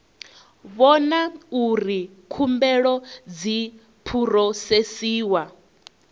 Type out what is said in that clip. vhona uri khumbelo dzi phurosesiwa